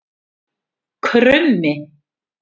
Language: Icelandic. Krummi